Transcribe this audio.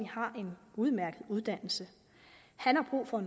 har en udmærket uddannelse han har brug for